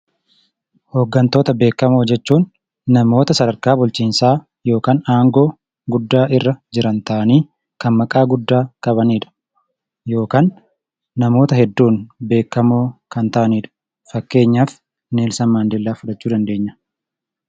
Hooggantoota beekamoo jechuun namoota sadarkaa bulchiinsaa yookan aangoo guddaa irra jiran ta'anii kan maqaa guddaa qabaniidha. Yookan namoota hedduun beekkamoo kan ta'aniidha. Fakkeenyaaf Neelsan Maandeellaa fudhachuu ni dandeenya.